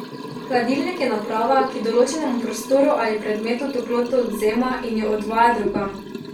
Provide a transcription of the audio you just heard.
Hladilnik je naprava, ki določenemu prostoru ali predmetu toploto odvzema in jo odvaja drugam.